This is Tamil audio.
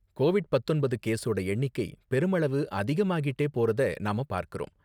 கோவிட் பத்தொன்பது கேஸோட எண்ணிக்கை பெருமளவு அதிகமாகிட்டே போறத நாம பார்க்கறோம்